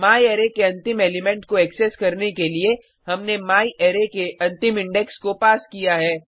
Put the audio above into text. म्यारे के अंतिम एलिमेंट को एक्सेस करने के लिए हमने म्यारे के अंतिम इंडेक्स को पास किया है